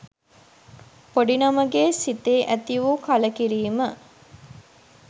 පොඩි නමගේ සිතේ ඇති වූ කලකිරීම